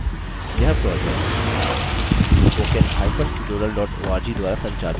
यह project